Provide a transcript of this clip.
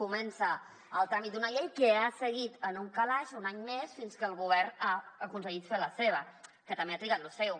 comença el tràmit d’una llei que ha seguit en un calaix un any més fins que el govern ha aconseguit fer la seva que també ha trigat lo seu